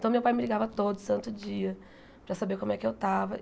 Então meu pai me ligava todo santo dia para saber como é que eu estava.